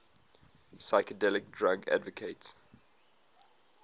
psychedelic drug advocates